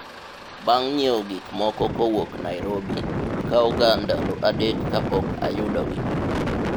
bang' nyiewo gikmoko kowuok Nairobi, kawo ga ndalo adek kapok ayudogi